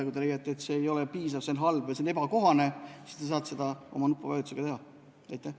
Kui te leiate, et see ei ole piisav, see on halb või see on ebakohane, siis te saate oma nupuvajutusega seda väljendada.